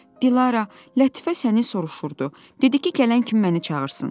Dilarə, Lətifə səni soruşurdu, dedi ki, gələn kimi məni çağırsın.